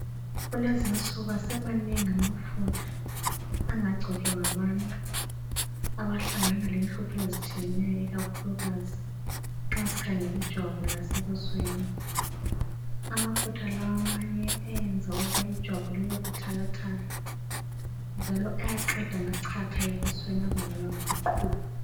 Kulezinsuku asemanengi amafutha angagcotshwa ngabantu abahlangana lenhlupho ezitshiyeneyo ikakhulukazi nxa sikhangelijwabu lasebusweni, amafutha la amanye enza ijwabu libe buthakathaka, njalo ayaqeda amachatha ebusweni abangelwa ngamaqhubu.